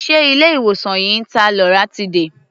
Ṣé ilé-ìwòsàn yìí ń ta loratiday?